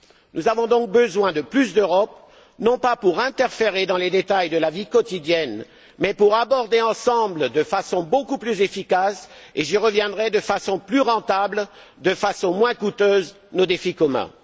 Nous avons donc besoin de plus d'Europe, non pas pour interférer dans les détails de la vie quotidienne, mais pour aborder ensemble de façon beaucoup plus efficace et, j'y reviendrai, de façon plus rentable, de façon moins coûteuse, nos défis communs.